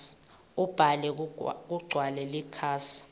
ubhale kugcwale likhasi